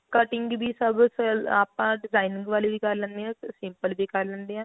cutting ਚ ਵੀ ਸਭ ਆਪਾਂ design ਵਾਲੇ ਵੀ ਕਰ ਲੈਣੇ ਆ ਤੇ simple ਵੀ ਕਰ ਲੈਂਦੇ ਆ